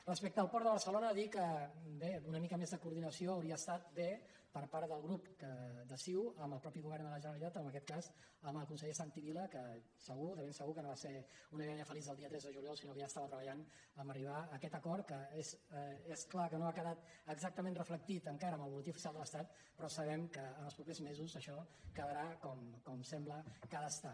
respecte al port de barcelona dir que bé una mica més de coordinació hauria estat bé per part del grup de ciu amb el mateix govern de la generalitat o en aquest cas amb el conseller santi vila que segur de ben segur que no va ser una idea feliç del dia tres de juliol sinó que ja estava treballant per arribar a aquest acord que és clar que no ha quedat exactament reflectit encara en el butlletí oficial de l’estatsabem que ens els propers mesos això quedarà com sembla que ha d’estar